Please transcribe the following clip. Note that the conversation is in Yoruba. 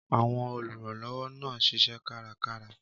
Àwọn olùrànlọ́wọ́ náà ń ṣiṣẹ́ kárakára.